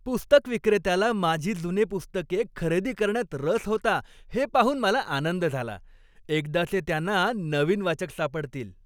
पुस्तकविक्रेत्याला माझी जुनी पुस्तके खरेदी करण्यात रस होता हे पाहून मला आनंद झाला. एकदाचे त्यांना नवीन वाचक सापडतील.